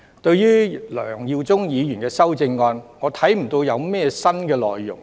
對於梁耀忠議員的修正案，我看不見有甚麼新內容。